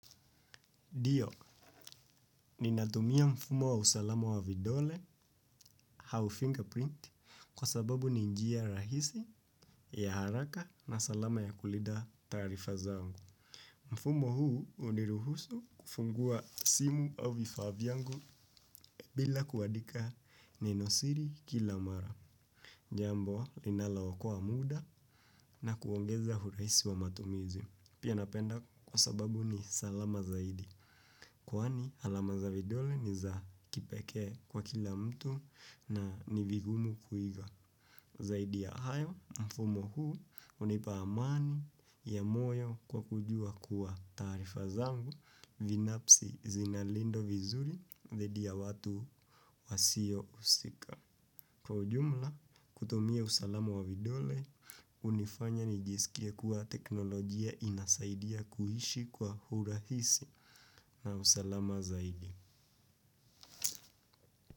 Dio, ninatumia mfumo wa usalamo wa vidole hau fingerprint kwa sababu ni njia rahisi ya haraka na salama ya kulinda taarifa zangu. Mfumo huu uniruhusu kufungua simu au vifaa vyangu bila kuandika ninosiri kila mara. Jambo linalo okoa muda na kuongeza huraisi wa matumizi. Pia napenda kwa sababu ni salama zaidi. Kwani alama za vidole ni za kipekee kwa kila mtu na ni vigumu kuiga. Zaidi ya hayo mfumo huu hunipa amani ya moyo kwa kujua kuwa taarifa zangu Vinapsi zinalindwa vizuri vedi ya watu wasio husika kwa ujumla, kutumia usalama wa vidole, hunifanya nijisikie kuwa teknolojia inasaidia kuishi kwa hurahisi na usalama zaidi.